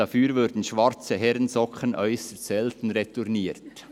Dafür würden schwarze Herrensocken äusserst selten retourniert.